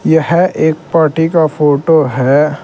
यह एक पार्टी का फोटो है।